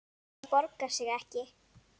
Það borgar sig ekki